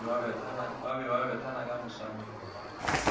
ba bethana ka mesamelo ba